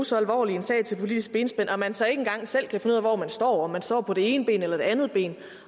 så alvorlig sag til politisk benspænd og at man så ikke engang selv kan finde ud af hvor man står om man står på det ene ben eller det andet ben og